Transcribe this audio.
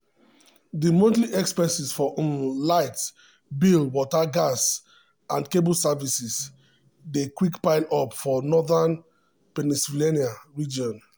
di monthly expenses for um light bill water gas and cable services dey quick pile up um for northeastern pennsylvania um region.